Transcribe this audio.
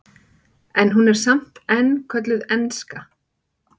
en hún er samt enn kölluð enska